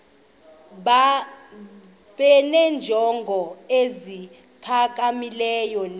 benenjongo eziphakamileyo kunezi